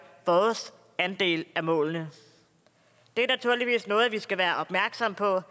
vores andel af målene det er naturligvis noget vi skal være opmærksomme på